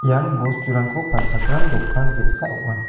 ian bosturangko palchakram dokan ge·sa ong·a.